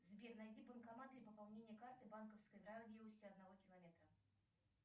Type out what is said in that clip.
сбер найди банкоматы для пополнения карты банковской в радиусе одного километра